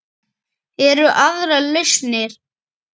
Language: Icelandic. Eru aðrar lausnir?